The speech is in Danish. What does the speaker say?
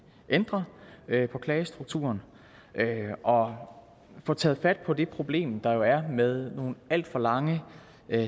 ændre på klagestrukturen og få taget fat på det problem der jo er med nogle alt for lange